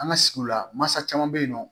An ka sigiw la masa caman bɛ yen nɔ